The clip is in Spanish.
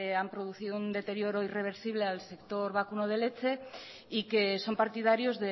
han producido un deterioro irreversible al sector vacuno de leche y que son partidarios